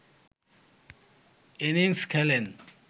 innings খেলেন